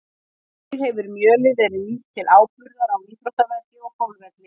Einnig hefur mjölið verið nýtt til áburðar á íþróttavelli og golfvelli.